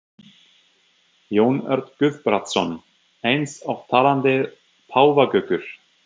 Jón Örn Guðbjartsson: Eins og talandi páfagaukar?